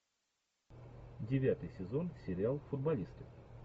девятый сезон сериал футболисты